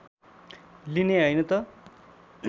लिने हैन त